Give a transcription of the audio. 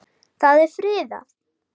Það er friðað.